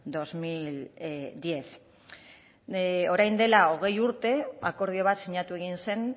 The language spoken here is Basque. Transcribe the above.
dos mil diez orain dela hogei urte akordio bat sinatu egin zen